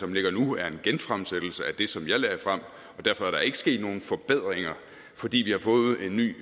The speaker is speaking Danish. ligger nu en genfremsættelse af det som jeg lagde frem og derfor er der ikke sket nogen forbedringer fordi vi har fået en ny